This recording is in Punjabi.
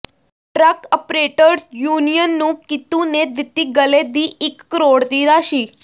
ਟਰੱਕ ਅਪਰੇਟਰਜ਼ ਯੂਨੀਅਨ ਨੂੰ ਕੀਤੂ ਨੇ ਦਿੱਤੀ ਗੱਲੇ ਦੀ ਇੱਕ ਕਰੋੜ ਦੀ ਰਾਸ਼ੀ